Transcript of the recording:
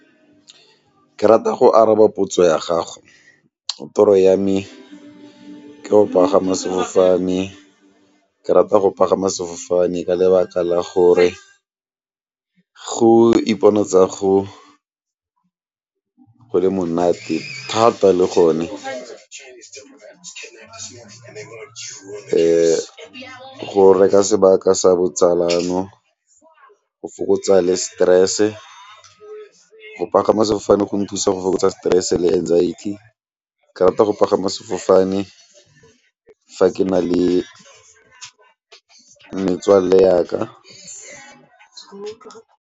Ke rata go araba potso ya gago, toro ya me ke go pagama sefofane ke rata go pagama sefofane ka lebaka la gore go iponatsa go le monate thata le gone . Go reka sebaka sa botsalano, go fokotsa le stress, go pagama sefofane go nthusa go fokotsa stress le anxiety, ke rata go pagama sefofane fa ke na le metswalle yaka.